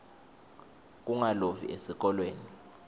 kungalovi esikolweni